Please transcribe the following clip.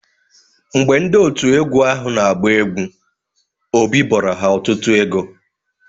Mgbe ndị òtù egwu ahụ na-agba egwu, Obi bọrọ ha ọtụtụ ego.